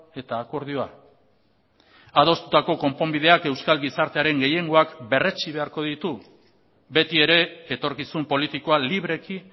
eta akordioa adostutako konponbideak euskal gizartearen gehiengoak berretsi beharko ditu beti ere etorkizun politikoa libreki